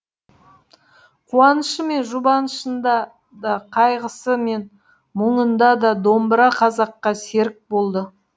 қуанышы мен жұбанышында да қайғысы мен мұңында да домбыра қазаққа серік болды